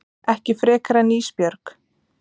Ekki frekar en Ísbjörg.